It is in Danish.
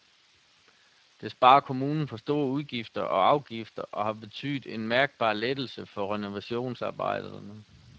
Det sparer kommunen for store udgifter og afgifter og har betydet en mærkbar lettelse for renovationsarbejderne.